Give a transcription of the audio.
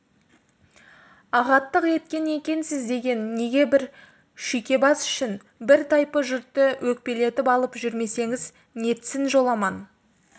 ағаттық еткен екенсіз деген неге бір шүйкебас үшін бір тайпы жұртты өкпелетіп алып жүрмесеңіз нетсін жоламан